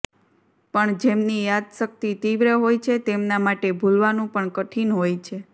પણ જેમની યાદશક્તિ તિવ્ર હોય છે તેમના માટે ભૂલવાનું પણ કઠીન હોય છે